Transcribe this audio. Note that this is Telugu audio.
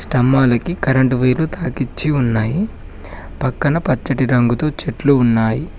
తంబాలకి కరెంటు వైర్లు తాకిచ్చి ఉన్నాయి పక్కన పచ్చటి రంగుతో చెట్లు ఉన్నాయి.